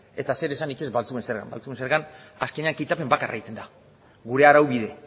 eta zeresanik ez baltzuen zergan baltzuen zergan azkenean kitapen bakarra egiten da gure araubide